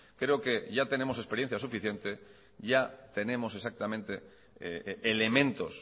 creo que ya tenemos experiencia suficiente ya tenemos exactamente elementos